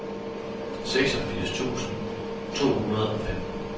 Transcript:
seksogfirs tusind to hundrede og femten